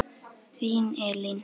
Þín, Elín.